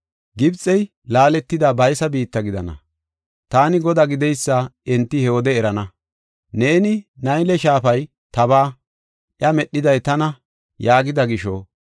Gibxe laaletidi baysa biitta gidana. Taani Godaa gideysa enti he wode erana. Neeni, ‘Nayle shaafay tabaa; iya medhiday tana’ yaagida gisho,